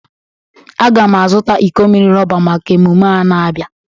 Agam a zụta iko mmiri rọba maka emume a na-abia.